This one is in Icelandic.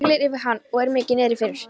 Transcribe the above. Siglir yfir hann og er mikið niðri fyrir.